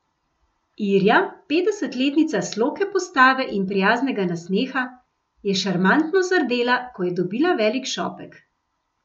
Irja, petdesetletnica sloke postave in prijaznega nasmeha, je šarmantno zardela, ko je dobila velik šopek.